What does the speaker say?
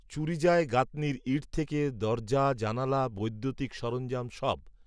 চুরি যায় গাঁথনির ইঁট, থেকে, দরজা জানালা বৈদ্যুতিক সরঞ্জাম, সব